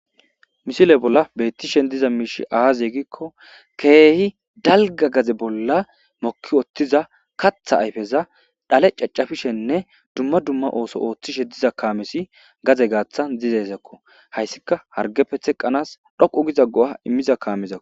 misile bolla beettishen diza miishi aaze gikko keehi dalga gaze bolla mokki otthiza katha ayfeza dhale caccafishenne dumma dumma ooso ooththishe diza kaamesi gaze gaatha dizezakko hayssika hargepe theqqanaas dhoqu giza go7a immiza kaamezao